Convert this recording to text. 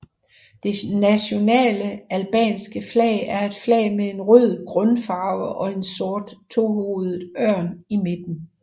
Det nationale albanske flag er et flag med en rød grundfarve og en sort tohovedet ørn i midten